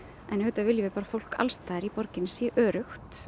en auðvitað viljum við bara að fólk alls staðar í borginni sé